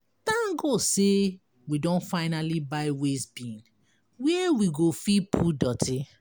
Thank God say we don finally buy waste bin where we go fit put dirty.